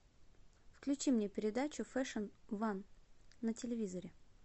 включи мне передачу фэшн ван на телевизоре